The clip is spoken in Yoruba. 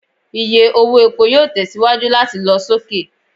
Iye owo epo yoo tẹsiwaju lati lọ soke